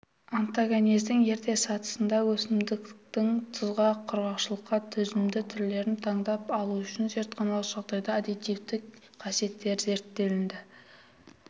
онтогенездің ерте сатысында өсімдіктің тұзға құрғақшылыққа төзімді түрлерін таңдап алу үшін зертханалық жағдайда адаптивтік қасиеттері зерттелінді